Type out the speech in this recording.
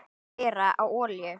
Keyra á olíu?